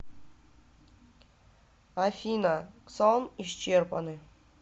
афина ксон исчерпаны